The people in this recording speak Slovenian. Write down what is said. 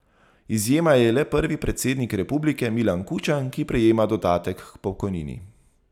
Izjema je le prvi predsednik republike Milan Kučan, ki prejema dodatek k pokojnini.